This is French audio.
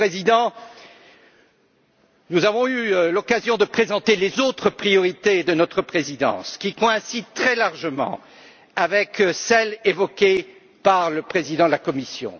Monsieur le Président, nous avons eu l'occasion de présenter les autres priorités de notre présidence, qui coïncident très largement avec celles évoquées par le président de la Commission.